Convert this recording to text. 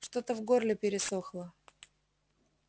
что-то в горле пересохло